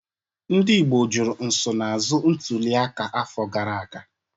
Ndị Igbo jụrụ nsonaazụ ntuliaka afọ gara aga.